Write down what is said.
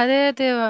അതെ അതെ വ